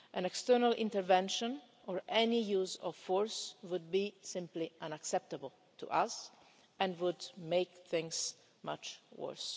External intervention or any use of force would simply be unacceptable to us and would make things much